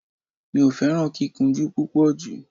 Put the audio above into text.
Mi ò fẹ́ràn kíkúnjú púpọ̀ jù